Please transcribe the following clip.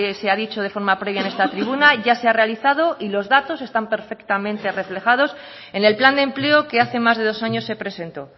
se ha dicho de forma previa en esta tribuna ya se ha realizado y los datos están perfectamente reflejados en el plan de empleo que hace más de dos años se presentó